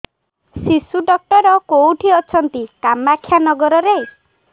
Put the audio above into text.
ଶିଶୁ ଡକ୍ଟର କୋଉଠି ଅଛନ୍ତି କାମାକ୍ଷାନଗରରେ